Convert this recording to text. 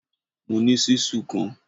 Mo ní ṣíṣù kan